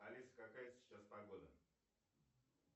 алиса какая сейчас погода